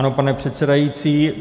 Ano, pane předsedající.